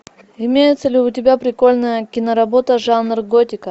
имеется ли у тебя прикольная кино работа жанр готика